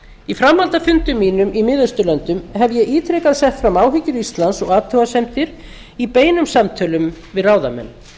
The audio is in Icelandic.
í framhaldi af fundum mínum í mið austurlöndum hef ég ítrekað sett fram áhyggjur íslands og athugasemdir í beinum samtölum við ráðamenn